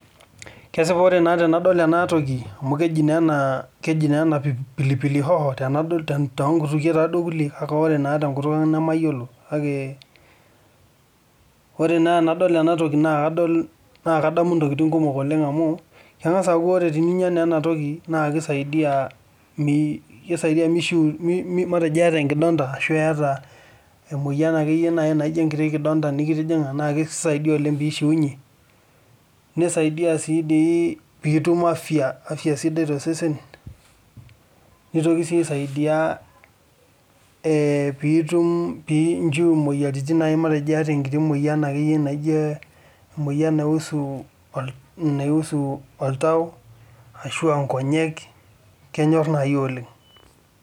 Kesipa naa tenadol ena toki amu keji naa ena pilipili hoho toonkutukie taaduo kulie kake ore naa tenkut ang namayiolo ore naa tenadol enatoki naakadamu intokitin kumok amu keng'as aaku teninyia naa enatoki naa keidaidi meishiunyie ata enkidonda ashuu iyata emoyian akeyie naajio enkiti kidonta naa keisaidia oleng peishuunyie nesaidia siidii piitum afya sidai tosesen nitoki sii asaidia piitum piinchu imoyiaritin naaji naaijio emoyian naisu oltau ashua inkonyek Kenyor naaaji oleng.